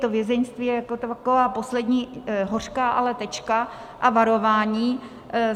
To vězeňství je jako taková poslední hořká ale tečka a varování.